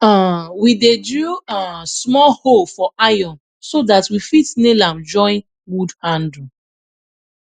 um we dey drill um small hole for iron so dat we fit nail am join wood handle